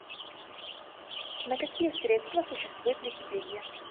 на какие средства существует википедия